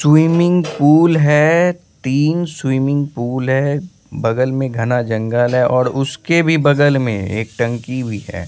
Swimming pool है तीन swimming pool है बगल में घना जंगल है और उसके भी बगल में एक टंकी भी है।